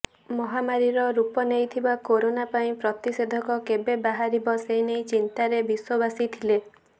ମହାମାରୀର ରୂପ ନେଇଥିବା କୋରୋନା ପାଇଁ ପ୍ରତିଷେଧକ କେବେ ବାହାରିବ ସେନେଇ ଚିନ୍ତାରେ ବିଶ୍ୱବାସୀ ଥିଲେ